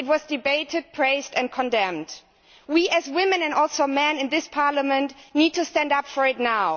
it was debated, praised and condemned. We as women, and also men, in this Parliament need to stand up for it now.